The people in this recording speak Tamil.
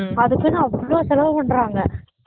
அதுக்குனு அவளோ செலவு பண்றாங்க